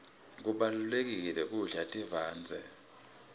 kubalulekile kudla tivandze